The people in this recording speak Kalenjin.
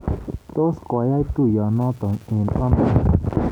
Tos koyaak tuiyenoto eng ano?